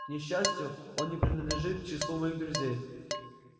к несчастью он не принадлежит к числу моих друзей